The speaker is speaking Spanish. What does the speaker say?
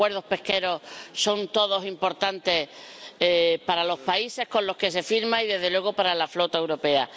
Los acuerdos pesqueros son todos importantes para los países con los que se firman y desde luego, para la flota europea.